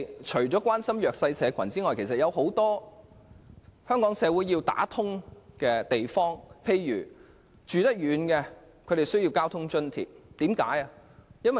除了關心弱勢社群外，香港社會在其他方面亦有很多需要處理的問題。